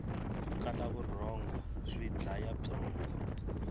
ku kala vurhongo swi dlaya byongo